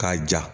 K'a ja